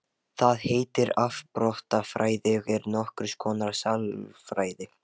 Það heitir afbrotafræði og er nokkurs konar sálfræði.